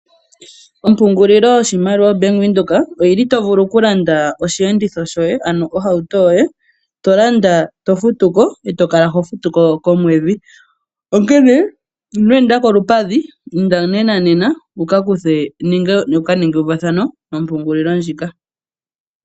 Ompungulilo yoshimaliwa oBank Windhoek oyili tovulu okulanda osheenditho shoye ano ohauto yoye, tolanda tofutuko e tokala hofutuko komwedhi, onkene ino enda kolupadhi inda nenanena wuka kuthe nenge wuka ninge euvathano nompungulilo ndjika.